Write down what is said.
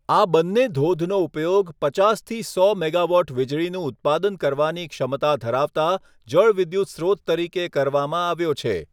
આ બંને ધોધનો ઉપયોગ પચાસથી સો મેગાવોટ વીજળીનું ઉત્પાદન કરવાની ક્ષમતા ધરાવતા જળવિદ્યુત સ્રોત તરીકે કરવામાં આવ્યો છે.